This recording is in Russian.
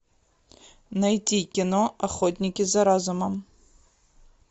найти кино охотники за разумом